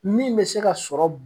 Min bɛ se ka sɔrɔ.